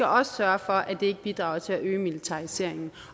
også sørge for at det ikke bidrager til at øge militariseringen